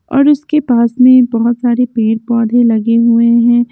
और उसके पास मे बहोत सारे पेड़ पौधे लगे हुए है।